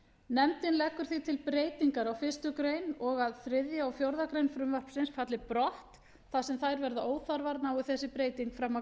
nefndin leggur því til breytingar á fyrstu grein og að þriðji og fjórðu grein frumvarpsins falli brott þar sem þær verða óþarfar nái þessi breyting fram að